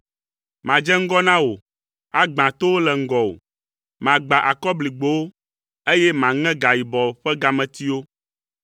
Madze ŋgɔ na wò, agbã towo le ŋgɔwò. Magbã akɔbligbowo, eye maŋe gayibɔ ƒe gametiwo.